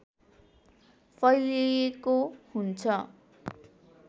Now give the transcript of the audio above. फैलिएको हुन्छ